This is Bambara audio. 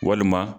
Walima